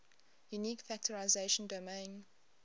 unique factorization domain